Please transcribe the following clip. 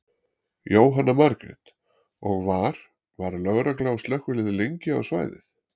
Jóhanna Margrét: Og var, var lögregla og slökkvilið lengi á svæðið?